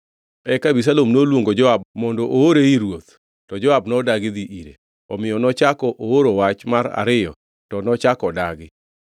Eka Abisalom noluongo Joab mondo oore ir ruoth, to Joab nodagi dhi ire. Omiyo nochako ooro wach mar ariyo to nochako odagi.